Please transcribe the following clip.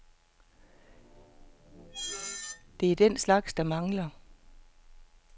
Det er den slags, de mangler.